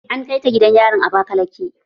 An kai ta gidan yarin abakaleke.